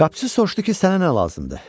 Qapıçı soruşdu ki, sənə nə lazımdır?